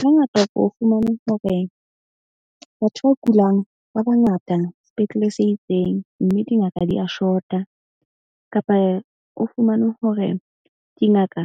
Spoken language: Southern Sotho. Hangata ke o fumane hore batho ba kulang ba bangata sepetlele se itseng. Mme dingaka di ya short-a kapa o fumane hore dingaka